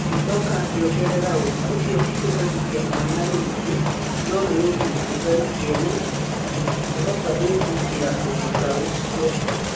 Agĩcoka akĩongerera ũũ: "Ũcio ti kũherithia mwana rĩngĩ, no nĩ ũhinya ũtarĩ kĩene na tũtingĩhota gwĩtĩkĩra ũndũ ta ũcio".